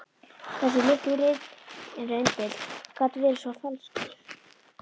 Þessi litli rindill gat verið svo falskur.